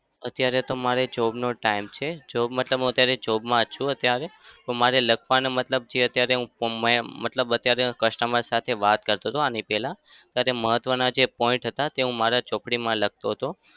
અત્યારે તો મારે job નો time છે. job મતલબ હું અત્યારે job માં છું. અત્યારે મારે લખવાનો મતલબ છે કે અત્યારે હું from માં એમ મતલબ અત્યારે customer સાથે વાત કરતો હતો આની પહેલા. ત્યારે મહત્વના જે point હતા તે હું મારા ચોપડીમાં લખતો હતો.